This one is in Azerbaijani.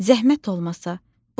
Zəhmət olmasa, buyurun.